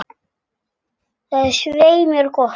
Það er svei mér gott.